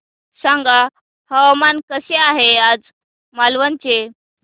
सांगा हवामान कसे आहे आज मालवण चे